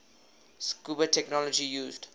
scuba technology used